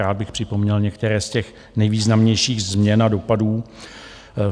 Rád bych připomněl některé z těch nejvýznamnějších změn a dopadů.